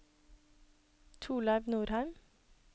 Torleiv Norheim